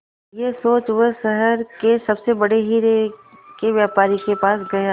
यह सोच वो शहर के सबसे बड़े हीरे के व्यापारी के पास गया